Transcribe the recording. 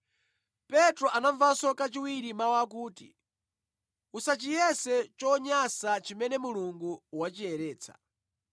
Petro anamvanso kachiwiri mawu akuti, “Usachiyese chonyansa chimene Mulungu wachiyeretsa.”